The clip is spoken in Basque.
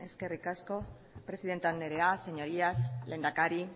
eskerrik asko presidente anderea señorías lehendakari